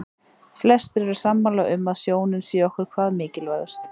Flestir eru sammála um að sjónin sé okkur hvað mikilvægust.